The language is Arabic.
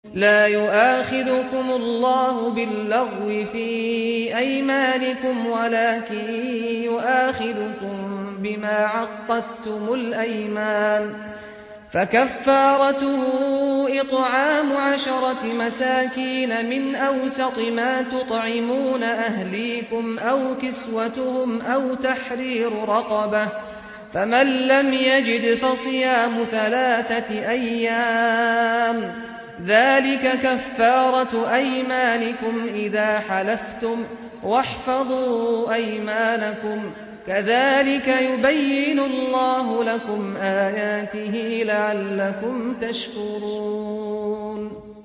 لَا يُؤَاخِذُكُمُ اللَّهُ بِاللَّغْوِ فِي أَيْمَانِكُمْ وَلَٰكِن يُؤَاخِذُكُم بِمَا عَقَّدتُّمُ الْأَيْمَانَ ۖ فَكَفَّارَتُهُ إِطْعَامُ عَشَرَةِ مَسَاكِينَ مِنْ أَوْسَطِ مَا تُطْعِمُونَ أَهْلِيكُمْ أَوْ كِسْوَتُهُمْ أَوْ تَحْرِيرُ رَقَبَةٍ ۖ فَمَن لَّمْ يَجِدْ فَصِيَامُ ثَلَاثَةِ أَيَّامٍ ۚ ذَٰلِكَ كَفَّارَةُ أَيْمَانِكُمْ إِذَا حَلَفْتُمْ ۚ وَاحْفَظُوا أَيْمَانَكُمْ ۚ كَذَٰلِكَ يُبَيِّنُ اللَّهُ لَكُمْ آيَاتِهِ لَعَلَّكُمْ تَشْكُرُونَ